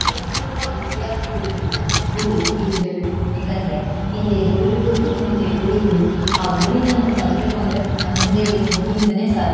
ಪ್ರತಿಯೊಬ್ಬ ವಿದ್ಯರ್ಥಿಗಳಿಗೂ ಗುರು ಇರ್ಲೇಬೇಕು ಯಾಕಂದ್ರೆ ಹಿಂದೆ ಗುರು ಇರ್ಬೇಕು ಮುಂದೆ ಗುರಿ ಇರ್ಬೇಕು ಆ ಗುರಿನ ನಾವು ತಲುಪಬೇಕು ಅಂದ್ರೆ ನಮ್ ಹಿಂದೆ ಇರುವ ಗುರು ಇಂದಾನೆ ಸಾಧ್ಯ.